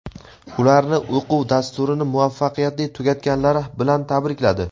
ularni o‘quv dasturini muvaffaqiyatli tugatganlari bilan tabrikladi.